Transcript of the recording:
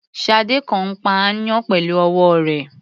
Ṣadé kàn ń pa aáyán pẹ̀lú ọwọ́ rẹ̀.